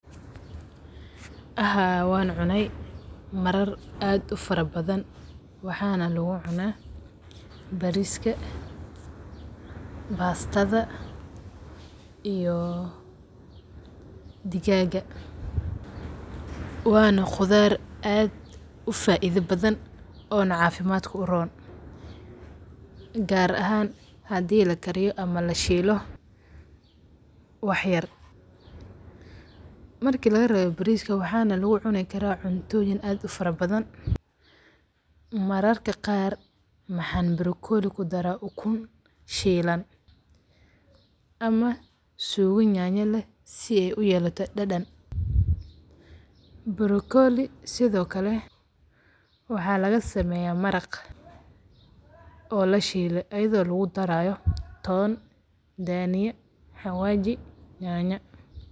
Haa wan cunay marar aad u fara badan ,Brokoliga macuntay waxay muhiim u tahay caafimaadka qofka. Waa khudrad hodan ku ah fiitamiinno iyo macdano, waxaana si gaar ah uga buuxa fiitamiino, kaas oo kor u qaada difaaca jirka. Dadka cuna brokoli si joogto ah waxay helaan faa’iidooyin badan sida hagaajinta dheefshiidka, hawaji yanya.